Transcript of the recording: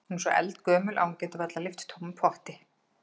Hún er svo eldgömul að hún getur varla lyft tómum potti.